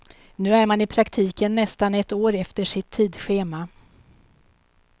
Nu är man i praktiken nästan ett år efter sitt tidschema.